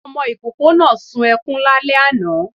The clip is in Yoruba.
Ọmọ ikoko náá suǹ ekuń lálẹ aná